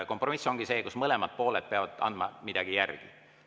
Kompromiss ongi see, kui mõlemad pooled peavad andma milleski järele.